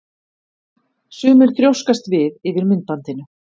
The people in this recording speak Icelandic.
Sumir þrjóskast við yfir myndbandinu.